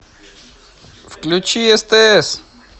включи стс